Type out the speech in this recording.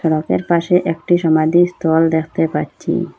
রোডের পাশে একটি সমাধিস্থল দেখতে পাচ্ছি।